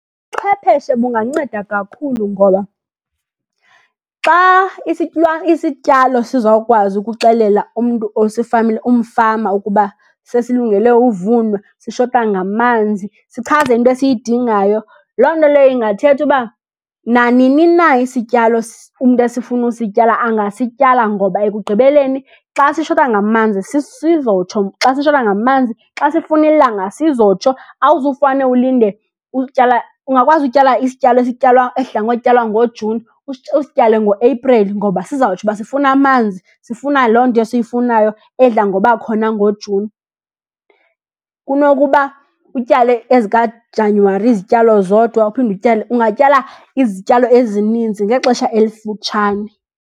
Chwepheshe bunganceda kakhulu. Ngoba xa isityalo sizawukwazi ukuxelela umntu umfama ukuba sesilungele uvunwa, sishota ngamanzi, sichaze into esiyidingayo, loo nto leyo ingathetha uba nanini na isityalo umntu esifuna usityala angasityala. Ngoba ekugqibeleni xa sishota ngamanzi, sizotsho xa sishota ngamanzi, xa sifuna ilanga sizotsho. Awuzufane ulinde utyala, ungakwazi utyala isityalo esityalwa, esidla ngotyalwa ngoJuni, usityale ngoApril ngoba sizawutsho uba sifuna amanzi, sifuna loo nto siyifunayo edla ngoba khona ngoJuni. Kunokuba utyale ezikaJanywari izityalo zodwa, uphinde utyale, ungatyala izityalo ezininzi ngexesha elifutshane.